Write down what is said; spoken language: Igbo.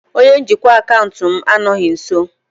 Onye njikwa akaụntụ m anọghị nso.